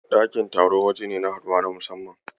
Ɗakin taro waje ne na haduwa ta musamman.